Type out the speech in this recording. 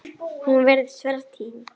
Hún virtist vera týnd